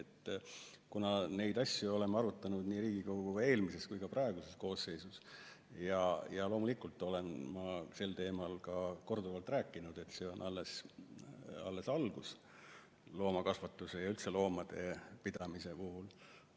Me oleme neid asju arutanud nii Riigikogu eelmises kui ka praeguses koosseisus ja loomulikult olen ma sel teemal ka korduvalt sõna võtnud, et see on alles algus loomakasvatuse ja üldse loomade pidamise puhul.